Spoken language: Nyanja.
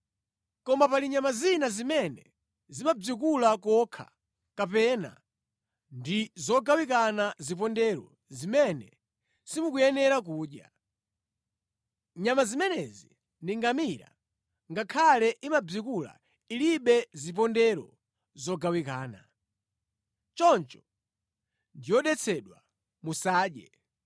“ ‘Koma pali nyama zina zimene zimabzikula kokha kapena ndi zogawikana zipondero zimene simukuyenera kudya. Nyama zimenezi ndi ngamira, ngakhale imabzikula ilibe zipondero zogawikana. Choncho ndi yodetsedwa, musadye.